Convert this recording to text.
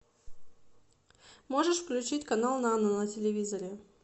можешь включить канал нано на телевизоре